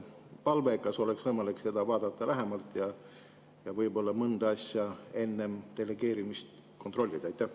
Palve: kas oleks võimalik vaadata seda lähemalt ja võib-olla mõnda asja enne delegeerimist kontrollida?